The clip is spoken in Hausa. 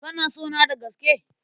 Kana sona da gaske?